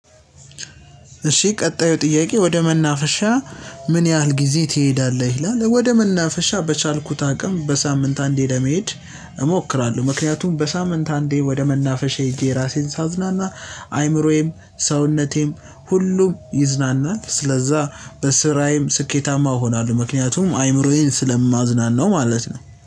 እሺ ቀጣዩ ጥያቄ። ወደ መናፈሻ ምን ያህል ጊዜ ትሄዳለህ? ይላል ወደ መናፈሻ በቻልኩት አቅም በሳምንት አንዴ ለመሄድ እሞክራለሁ። ምክንያቱም በሳምንት አንዴ ወደ መናፈሻዬ ሄጄ እራሴን ሳዝናና አይምሮዬም ሰውነቴም ሁሉም ይዝናናል። ስለዛ በስራዬም ስኬታማ እሆናለሁ። ምክንያቱም አይምሮዬን ስለማዝናናው ማለት ነው